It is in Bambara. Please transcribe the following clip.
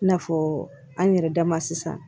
I n'a fɔ an yɛrɛ dama sisan